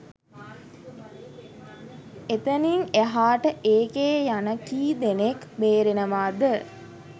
එතනිං එහාට ඒකේ යන කී දෙනෙක් බේරෙනවද